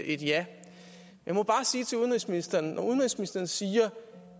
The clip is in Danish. et ja jeg må bare sige til udenrigsministeren at når udenrigsministeren siger